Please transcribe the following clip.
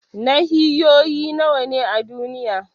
Nahiyoyi nawa ne a duniya?